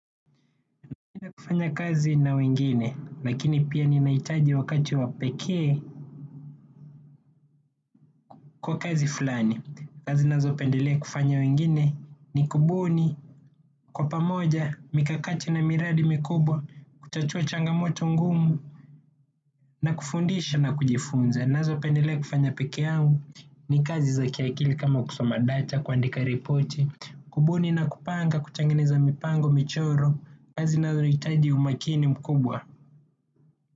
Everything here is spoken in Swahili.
Napenda kufanya kazi na wengine, lakini pia ni nahitaji wakati wapekee kwa kazi fulani. Kazi nazopendelea kufanya wengine ni kubuni, kwa pamoja, mikakati na miradi mikubwa, kutatua changamoto ngumu, na kufundisha na kujifunza. Nazo pendelea kufanya pekee yangu ni kazi za kiakili kama kusoma data, kuandika repoti, kubuni na kupanga, kutengeneza mipango, michoro, kazi nazo zinahitaji umakini mkubwa.